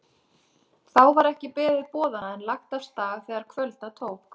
Þá var ekki beðið boðanna en lagt af stað þegar kvölda tók.